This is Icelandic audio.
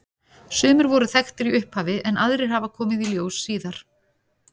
Sumir voru þekktir í upphafi en aðrir hafa komið í ljós síðar.